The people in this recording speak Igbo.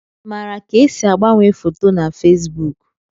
Ị maara ka esi agbanwe foto na Fesbuk?